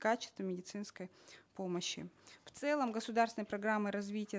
качества медицинской помощи в целом государственные программы развития